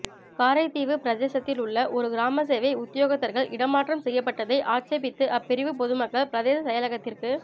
காரைதீவுப் பிரதேசத்திலுள்ள இரு கிராமசேவை உத்தியோகத்தர்கள் இடமாற்றம் செய்யப்பட்டதை ஆட்சேபித்து அப்பிரிவு பொதுமக்கள் பிரதேசசெயலகத்திற்கு